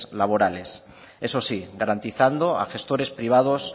laborales eso sí garantizando a gestores privados